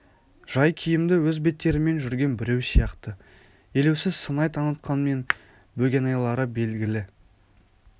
жай киімді өз беттерімен жүрген біреу сияқты елеусіз сыңай танытқанмен бөгенайлары белгілі